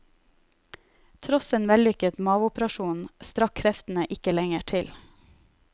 Tross en vellykket maveoperasjon strakk kreftene ikke lenger til.